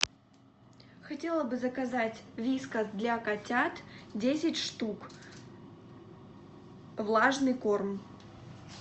хотела бы заказать вискас для котят десять штук влажный корм